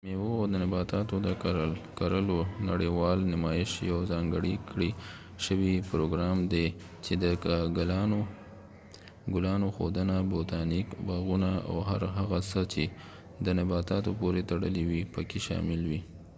د میوو او نباتاتو د کرلو نړیوال نمایش یو ځانګړی کړي شوي پروګرام دي چې د ګلانو ښودنه، بوتانیک باغونه ،او هر هغه څه چې د نباتاتو پورې تړلی وي پکې شامل وي